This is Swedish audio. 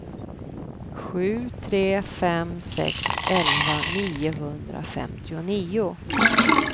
sju tre fem sex elva niohundrafemtionio